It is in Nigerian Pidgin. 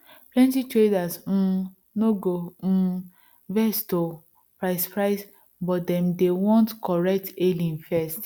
plenty traders um no go um vex to price price but dem dey want correct hailing first